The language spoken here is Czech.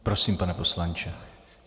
Prosím, pane poslanče.